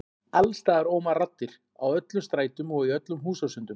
Alls staðar óma raddir, á öllum strætum og í öllum húsasundum.